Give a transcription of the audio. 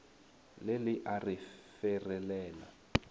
le le a re ferelela